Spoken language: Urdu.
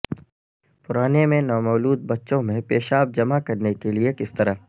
پرانے میں نومولود بچوں میں پیشاب جمع کرنے کے لئے کس طرح